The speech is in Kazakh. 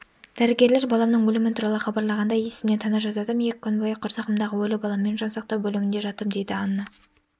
дәрігерлер баламның өлімі туралы хабарлағанда есімнен тана жаздадым екі күн бойы құрсағымдағы өлі баламмен жан сақтау бөлімінде жаттым дейді анна